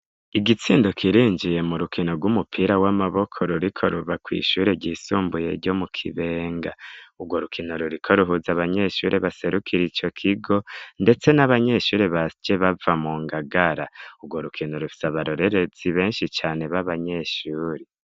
Igitsindo kirinjiye mu rukino rw'umupira w'amaboko ruriko ruva kw'ishuri ryisumbuye ryo mu kibenga urwo rukino ruriko ruhuza abanyeshuri baserukire icyo kigo, ndetse n'abanyeshuri basje bava mu ngagara urwo rukino rusa barorerezi benshi cane babanyeshuri.